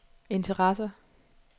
interesser